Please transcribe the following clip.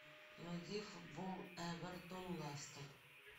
найди футбол эвертон лестер